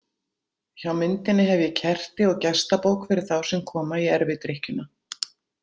Hjá myndinni hef ég kerti og gestabók fyrir þá sem koma í erfidrykkjuna.